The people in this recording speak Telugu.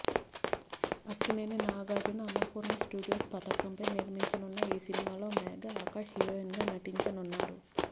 అక్కినేని నాగార్జున అన్నపూర్ణ స్టూడియోస్ పతాకంపై నిర్మించనున్న ఈ సినిమాలో మేఘా ఆకాష్ హీరోయిన్గా నటించనున్నారు